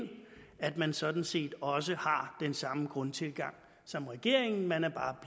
at man sådan set også har den samme grundtilgang som regeringen man er bare